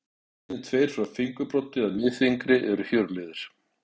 Liðirnir tveir frá fingurbroddi að miðfingri eru hjöruliðir.